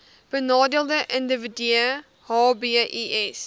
benadeelde individue hbis